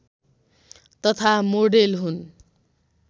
तथा मोडेल हुन्